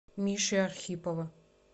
миши архипова